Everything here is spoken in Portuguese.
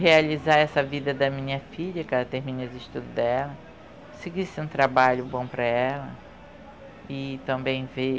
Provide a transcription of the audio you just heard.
Realizar essa vida da minha filha, que ela termine os estudos dela, seguisse um trabalho bom para ela e também ver